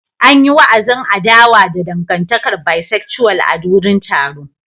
An yi wa'azin adawa da dangantakar Bisexual a wurin taron.